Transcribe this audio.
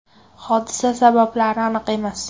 Hodisa sabablari aniq emas.